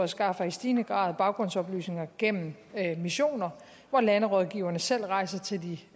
skaffer i stigende grad baggrundsoplysninger gennem missioner hvor landerådgiverne selv rejser til de